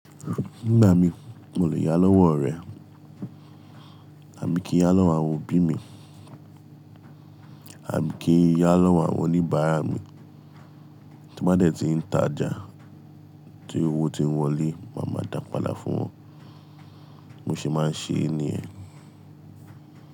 Nígbà mi, mo lè yá lọ́wọ́ ọ̀rẹ́ àbi kì ń yá lọ́wọ́ àwọn òbí mi, àbi kì ń yá lọ́wọ́ àwọn oníbàárà mi. Tí m bá dẹ̀ ti ń tajà tí owó ti ń wọlé, màá máa dàpàdà fún wọn. Mo se máa ń ṣe è níyẹn.